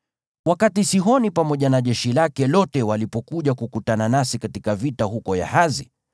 Wakati Sihoni pamoja na jeshi lake lote walipokuja kukutana nasi katika vita huko Yahazi,